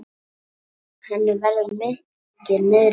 Henni verður mikið niðri fyrir.